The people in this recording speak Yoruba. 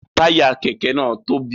Taya kẹkẹ náà tóbi